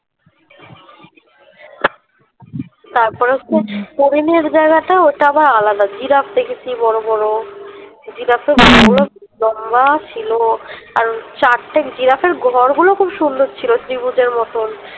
তারপরে হচ্ছে হরিনের জায়গাটা ওটা আবার আলাদা জিরাফ দেখেছি বড়ো বড়ো জিরাফ তো লম্বা ছিল আর ছাড়তে জিরাফ এর ঘর গুলো খুব সুন্দর ছিল ত্রিভুজ এর মতন